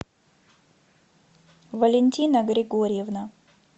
валентина григорьевна